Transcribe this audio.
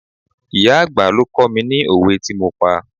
Ìyá àgbà ló kó mi ni òwe tí mo pa.